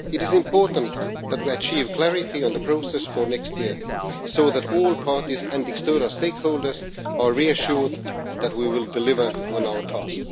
It is important that we achieve clarity on the process for next year, so that all parties and external stakeholders are reassured that we will deliver on our task.